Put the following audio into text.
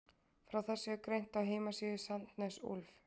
Frá þessu er greint á heimasíðu Sandnes Ulf.